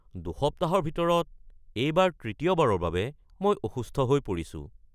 দুসপ্তাহৰ ভিতৰত এইবাৰ তৃতীয়বাৰৰ বাবে মই অসুস্থ হৈ পৰিছো।